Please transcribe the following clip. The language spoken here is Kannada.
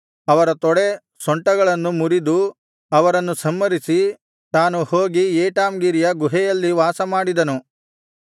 ಅವರ ತೊಡೆ ಸೊಂಟಗಳನ್ನು ಮುರಿದು ಅವರನ್ನು ಸಂಹರಿಸಿ ತಾನು ಹೋಗಿ ಏಟಾಮ್ ಗಿರಿಯ ಗುಹೆಯಲ್ಲಿ ವಾಸಮಾಡಿದನು